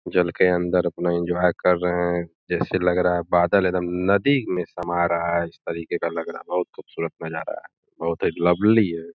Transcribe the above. जल के अंदर अपना एन्जॉय कर रहे हैं। जैसे लग रहा है बादल एदम नदी में समा रहा है इस तरीके का लग रहा। बहोत खुबसूरत नज़ारा है बहोत ही लवली है।